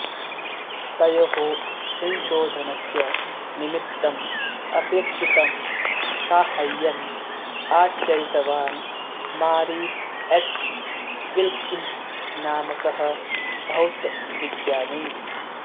तयोः संशोधनस्य निमित्तम् अपेक्षितं साहाय्यम् आचरितवान् मारीस् एच् विल्किन्स् नामकः भौतविज्ञानी